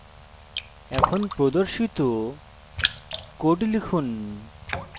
এখন প্রদর্শিত code লিখুন